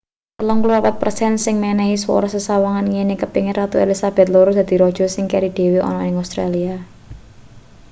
34 per sen sing menehi swara sesawangane ngene kepengin ratu elizabeth ii dadi raja sing keri dhewe ana ning australia